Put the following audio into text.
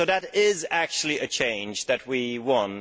So that is actually a change that we won